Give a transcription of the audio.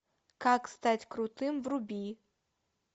как стать крутым вруби